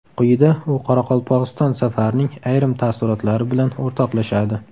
Quyida u Qoraqalpog‘iston safarining ayrim taassurotlari bilan o‘rtoqlashadi.